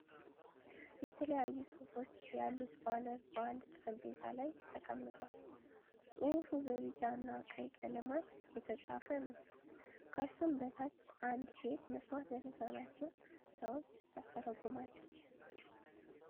የተለያዩ ጽሁፎች ያሉት ባነር በአንድ ጠረጴዛ ላይ ተቀምጧል። ጽሁፉም በቢጫ እና ቀይ ቀለማት የተጻፈ ነው። ከሱም በታች አንድ ሴት መስማት ለተሳናቸው ሰዎች ታስተረጉማለች።